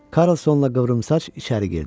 Karlsonla qıvrımsaç içəri girdi.